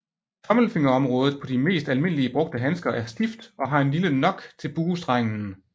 Tommelfingerområdet på de mest almindeligt brugte handsker er stift og har en lille nock til buestrengen